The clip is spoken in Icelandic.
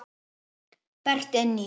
Berti inn í.